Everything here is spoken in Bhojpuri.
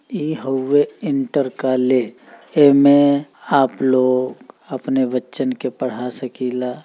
इ हउवै इन्टर कॉलेज एमे आप लोग अपने बच्चन के पढ़ा सकीला।